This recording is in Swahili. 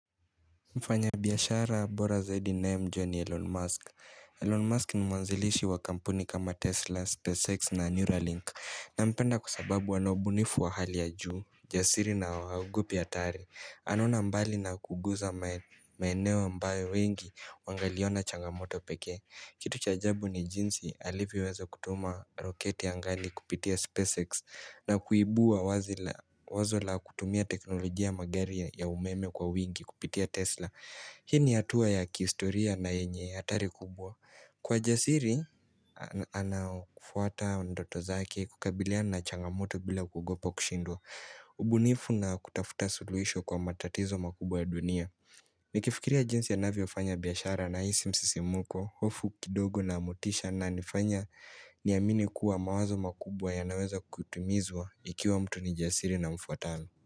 Mfanyabiashara bora zaidi ninayemjua ni Elon Musk Elon Musk ni mwanzilishi wa kampuni kama Tesla, SpaceX na Neuralink Nampenda kwa sababu ana ubunifu wa hali ya juu, jasiri na wa haogopi hatari anaona mbali na kuguza maeneo ambayo wengi wangaliona changamoto pekee Kitu cha ajabu ni jinsi alivyoweza kutuma roketi angani kupitia SpaceX na kuibua wazi wazo la kutumia teknolojia ya magari ya umeme kwa wigi kupitia Tesla Hini hatua ya kiistoria na yenye atari kubwa Kwa jasiri anafuata ndoto zake kukabiliana changamoto bila kugopa kushindwa ubunifu na kutafuta suluhisho kwa matatizo makubwa ya dunia Nikifikiria jinsi anavyofanya biashara naisi msisimuko hofu kidogo na motisha ananifanya niamini kuwa mawazo makubwa yanaweza kutumizwa Ikiwa mtu ni jasiri na mfuatalo.